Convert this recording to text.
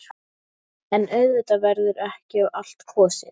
En auðvitað verður ekki á allt kosið.